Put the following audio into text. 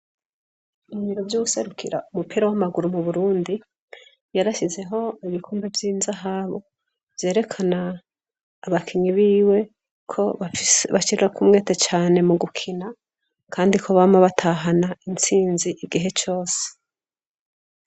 Ibiro by'uuserukira umupira w'amaguru mu burundi yarashyizeho ibikumbe vy'izahabu vyerekana abakinyi biwe ko bashira ko umwete cane mu gukina kandi ko bama batahana intsinzi igihe cose.